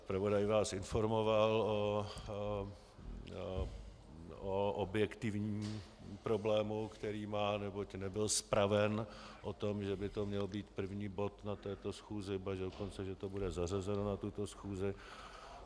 Zpravodaj vás informoval o objektivním problému, který má, neboť nebyl zpraven o tom, že by to měl být první bod na této schůzi, ba dokonce že to bude zařazeno na tuto schůzi.